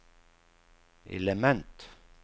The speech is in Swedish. element